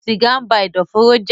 sìgá ń ba ẹ̀dọ̀fóró jẹ́